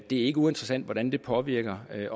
det er ikke uinteressant hvordan det påvirker